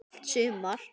Allt sumar